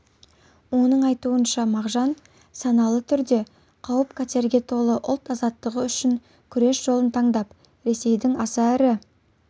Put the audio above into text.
оның айтуынша мағжан саналы түрде қауіпқатерге толы ұлт азаттығы үшін күрес жолын таңдап ресейдің аса ірі